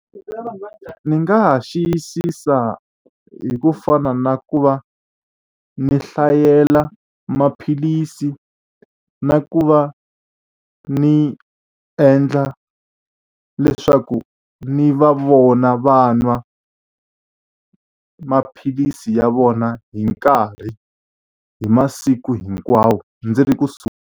Ndzi nga ha xiyisisa hi ku fana na ku va ni hlayela maphilisi, na ku va ni endla leswaku ni va vona va nwa maphilisi ya vona hi nkarhi, hi masiku hinkwawo ndzi ri kusuhi.